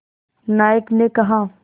नायक ने कहा